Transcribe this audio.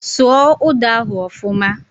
Sụọ ụda ahụ ọfuma!